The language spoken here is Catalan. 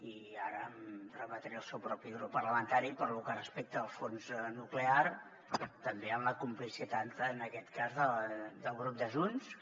i ara em remetré al seu propi grup parlamentari pel que respecta al fons nuclear també amb la complicitat en aquest cas del grup de junts que